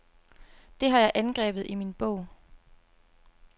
Det har jeg angrebet i min bog.